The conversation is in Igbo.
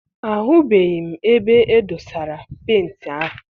Ahubeghi m ebe e dosara penti ahụ.